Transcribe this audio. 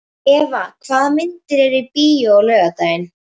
Eva, hvaða myndir eru í bíó á laugardaginn?